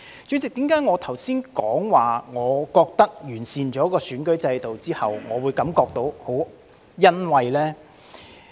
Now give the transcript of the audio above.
主席，為何我剛才說在完善選舉制度後，我會感到很欣慰呢？